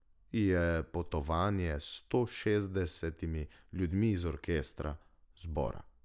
Je potovanje s stošestdesetimi ljudmi iz orkestra, zbora.